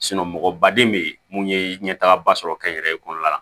mɔgɔbaden bee mun ye ɲɛtagaba sɔrɔ kɛnyɛrɛye kɔnɔna la